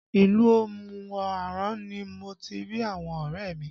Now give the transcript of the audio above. Ilu Omu Aran ni mo ti rí àwọn ọrẹ mi